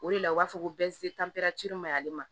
O de la u b'a fɔ ko ma'ale ma